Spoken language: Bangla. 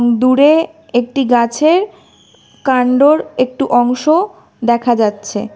দূরে একটি গাছের কাণ্ডর একটু অংশ দেখা যাচ্ছে।